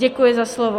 Děkuji za slovo.